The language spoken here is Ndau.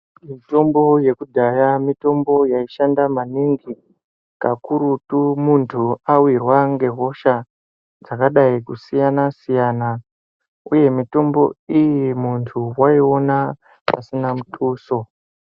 Mitombo yekudhaya mitombo yaishanda maningi. Kakurutu muntu wawirwa ngehosha dzakadai kusiyana uye mutombo iyi muntu waiona pasina mutuso.